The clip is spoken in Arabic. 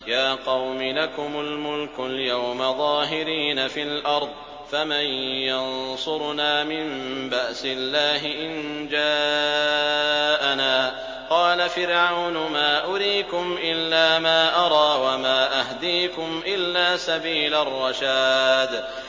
يَا قَوْمِ لَكُمُ الْمُلْكُ الْيَوْمَ ظَاهِرِينَ فِي الْأَرْضِ فَمَن يَنصُرُنَا مِن بَأْسِ اللَّهِ إِن جَاءَنَا ۚ قَالَ فِرْعَوْنُ مَا أُرِيكُمْ إِلَّا مَا أَرَىٰ وَمَا أَهْدِيكُمْ إِلَّا سَبِيلَ الرَّشَادِ